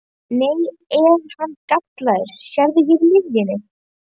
Nei, hann er gallaður, sérðu hérna í miðjunni.